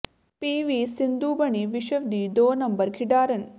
ਪੀ V Sindhu ਬਣੀ ਵਿਸ਼ਵ ਦੀ ਦੋ ਨੰਬਰ ਖਿਡਾਰਨ